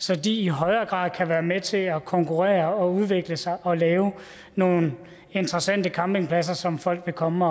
så de i højere grad kan være med til at konkurrere og udvikle sig og lave nogle interessante campingpladser som folk vil komme